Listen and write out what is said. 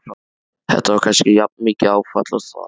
Þetta var kannski jafnmikið áfall og það.